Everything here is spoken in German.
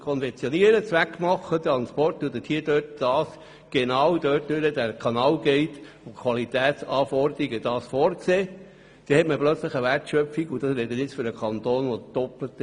Konfektioniert man das Holz aber selber nach einer Transportliste und liefert das Holz, dann hat man eine Wertschöpfung und der Preis beträgt das Doppelte.